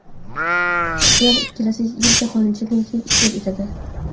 Ular kelasi yili Jahon chempionatida ishtirok etadi.